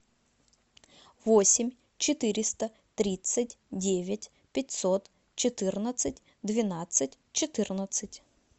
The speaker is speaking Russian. восемь четыреста тридцать девять пятьсот четырнадцать двенадцать четырнадцать